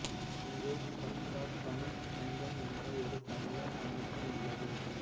இங்கு கத்தார் தமிழ்ச் சங்கம் என்ற ஒரு தமிழர் அமைப்பும் உள்ளது